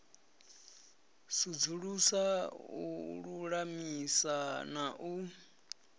sudzulusa u lulamisa na u